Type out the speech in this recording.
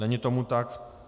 Není tomu tak.